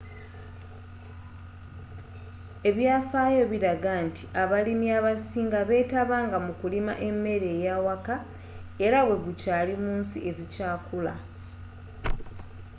ebyafaayo biraga nti abalimi abasinga beetabanga mu kulima emmere y'awaka era bwe gukyaali mu nsi ezikyakula